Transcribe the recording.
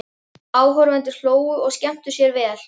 Áhorfendur hlógu og skemmtu sér vel.